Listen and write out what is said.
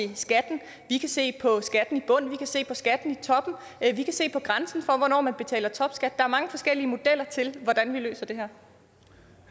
til skatten vi kan se på skatten i bunden vi kan se på skatten i toppen vi kan se på grænsen for hvornår man betaler topskat er mange forskellige modeller til hvordan vi løser det